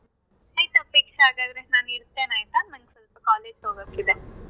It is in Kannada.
ಆಯ್ತ್ ಅಪೇಕ್ಷ ಹಾಗಾದ್ರೆ ನಾನ್ ಇಡ್ತೇನೆ ಆಯ್ತಾ ನಂಗ್ ಸ್ವಲ್ಪ college ಗೆ ಹೋಗೋಕ್ಕೆ ಇದೆ.